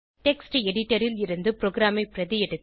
text editor ல் இருந்து ப்ரோகிராமை பிரதி எடுத்து